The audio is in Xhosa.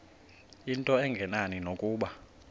into engenani nokuba